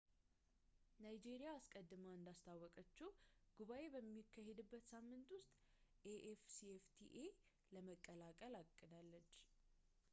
ናይጄሪያ አስቀድማ እንዳስታወቀችው ጉባኤው በሚካሄድበት ሳምንት ውስጥ afcfta ለመቀላቀል አቅዳለች